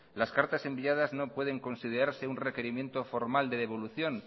las cartas enviadas no pueden considerarse un requerimiento formal de devolución